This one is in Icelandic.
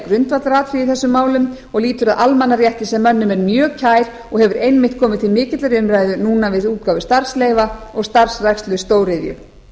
í þessum málum og lýtur að almannarétti sem mönnum er mjög kær og hefur einmitt komið til mikillar umræðu núna við útgáfu starfsleyfa og starfrækslu stóriðju